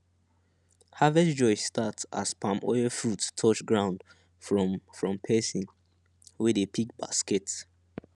harvest joy start as palm oil fruit touch ground from from person wey dey pick basket